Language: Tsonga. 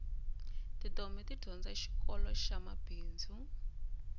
titombhi ti dyondza xikoloxa mabindzu